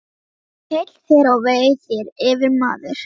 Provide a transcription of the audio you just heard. Heill þér og vei þér, yfirmaður!